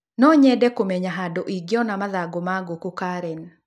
No nyende kũmenya handũ ingiiona mathagũ ma ngũku karen